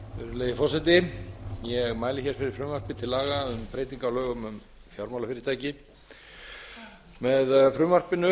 virðulegi forseti ég mæli hér fyrir frumvarpi til laga um breytingu á lögum um fjármálafyrirtæki með frumvarpinu